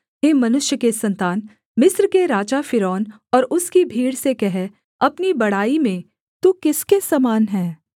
हे मनुष्य के सन्तान मिस्र के राजा फ़िरौन और उसकी भीड़ से कह अपनी बड़ाई में तू किसके समान है